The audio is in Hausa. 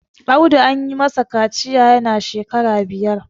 Audu an yi masa kaciya yana shekara biyar